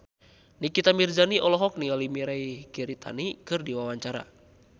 Nikita Mirzani olohok ningali Mirei Kiritani keur diwawancara